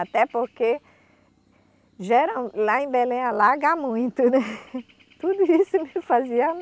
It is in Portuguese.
Até porque geral lá em Belém alaga muito, tudo isso me fazia.